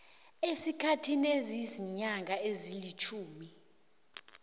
esikhathini esiziinyanga ezilitjhumi